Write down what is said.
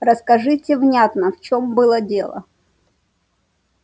расскажите внятно в чём было дело